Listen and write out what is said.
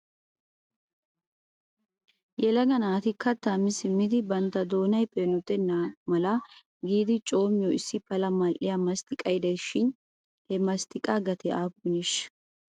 Yelaga naati kattaa mi siimidi bantta doonay peenotenna mala giidi coommiyoo issi pala mal"iyaa masttiqay de'es shin he masttiqaassi gatee aappuneshsha?